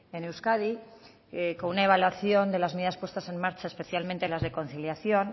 en euskadi con una evaluación de las medidas puestas en marcha especialmente las de conciliación